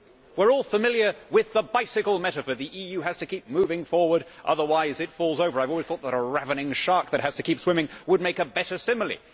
We are all familiar with the bicycle metaphor where the EU has to keep moving forward otherwise it falls over. I have always thought that a ravening shark that has to keep swimming would make a better simile.